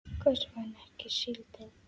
Hvers vegna ekki síldin?